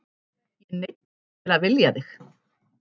Ég neyddist til að vilja þig.